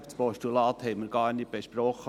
Das Postulat haben wir gar nicht besprochen.